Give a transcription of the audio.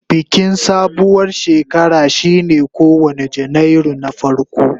Bikin sabuwar shekara shine kowane Janairu na farko.